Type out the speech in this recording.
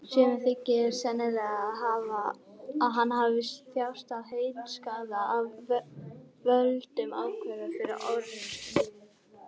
Sumum þykir sennilegt að hann hafi þjáðst af heilaskaða af völdum áverka úr fyrri orrustum.